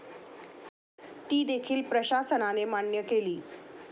ती देखील प्रशासनाने मान्य केली.